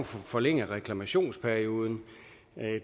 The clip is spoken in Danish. forlænge reklamationsperioden